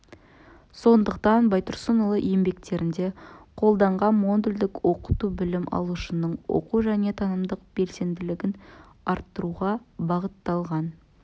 сондықтан байтұрсынұлы еңбектерінде қолданған модульдік оқыту білім алушының оқу және танымдық белсенділігін арттыруға бағытталған